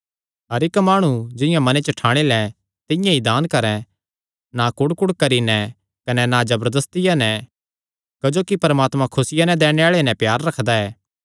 हर इक्क माणु जिंआं मने च ठाणी लैं तिंआं ई दान करैं ना कुढ़कुढ़ करी नैं कने ना जबरदस्तिया नैं क्जोकि परमात्मा खुसिया नैं दैणे आल़े नैं प्यार रखदा ऐ